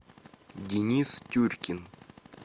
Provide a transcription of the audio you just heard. денис тюркин